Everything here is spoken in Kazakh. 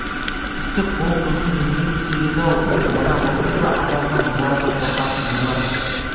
тіпті қол созым жерге түсер еді-ау мына мылтықты адамнан олар да қорқатын болар